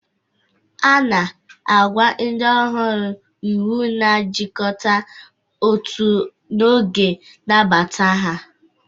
Ana agwa ndi ọhuru iwu na ajikọta ọtu n'oge nnabata ha.